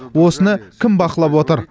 осыны кім бақылап отыр